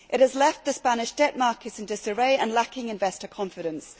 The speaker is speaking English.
It has left the Spanish debt market in disarray and lacking investor confidence.